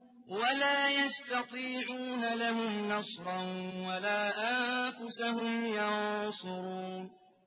وَلَا يَسْتَطِيعُونَ لَهُمْ نَصْرًا وَلَا أَنفُسَهُمْ يَنصُرُونَ